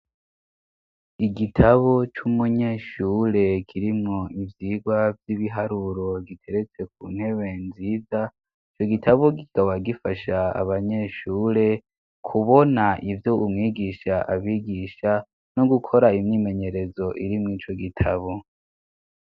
Igitabo c'umunyeshure kirimwo ivyirwa vy'ibiharuro giteretse ku ntebe nziza ico gitabo gikaba gifasha abanyeshure kubona ivyo umwigisha abigisha no gukora imyimenyerezo irimwo ico gitabo.